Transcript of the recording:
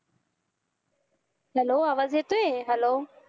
hello आवाज येतोय hello